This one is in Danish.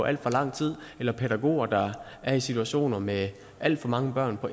alt for lang tid eller pædagoger der er i situationer med alt for mange børn på